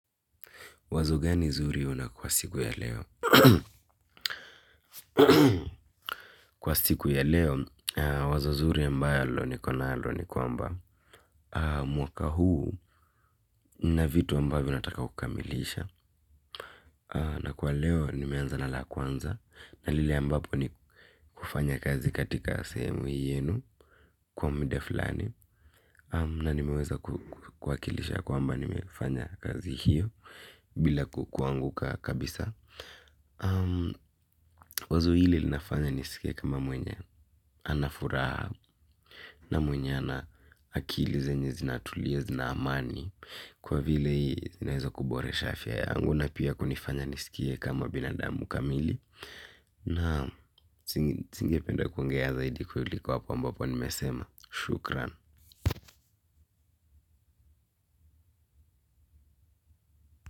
Wazo gani zuri una kwa siku ya leo? Kwa siku ya leo wazo zuri ambalo niko nalo ni kwamba mwaka huu na vitu ambavo nataka kukamilisha. Na kwa leo, nimeanza na la kwanza. Na lile ambapo ni kufanya kazi katika sehemu hiyenu kwa mda fulani. Na nimeweza kuwakilisha kwa mba nimefanya kazi hiyo bila kukwanguka kabisa. Fanya nisikie kama mwenye anafuraha na mwenye ana akili zenye zinatulia zina amani kwa vile hii zinazo kubore shafia ya anguna pia kunifanya nisikia kama binadamu kamili na singipenda kuingia zaidi kuliko hapo mbapo nimesema shukran.